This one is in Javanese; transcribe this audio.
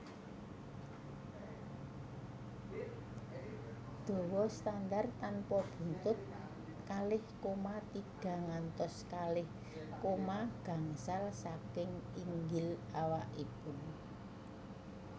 Dawa standar tanpa buntut kalih koma tiga ngantos kalih koma gangsal saking inggil awakipun